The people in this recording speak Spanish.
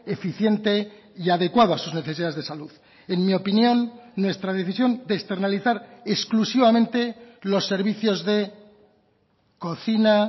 eficiente y adecuado a sus necesidades de salud en mi opinión nuestra decisión de externalizar exclusivamente los servicios de cocina